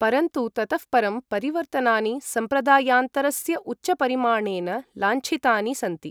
परन्तु ततः परं परिवर्तनानि संप्रदायान्तरस्य उच्चपरिमाणेन लाञ्छितानि सन्ति।